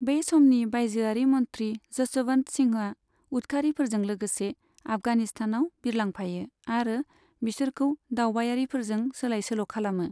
बै समनि बायजोयारि मन्थ्रि जस'वन्त सिंहआ उदखारिफोरजों लोगोसे आफगानिस्तानाव बिरलांफायो आरो बिसोरखौ दावबायारिफोरजों सोलाइ सोल' खालामो।